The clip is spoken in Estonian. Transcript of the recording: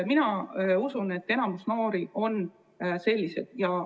Mina usun, et enamik noori on sellised.